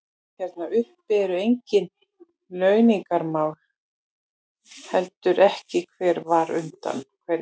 Hérna uppi eru engin launungarmál, heldur ekki hver var undan hverjum.